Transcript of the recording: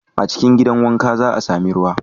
A cikin gidan wanka, za a sami ruwa.